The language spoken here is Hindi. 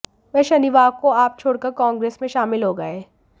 वह शनिवार को आप छोड़कर कांग्रेस में शामिल हो गए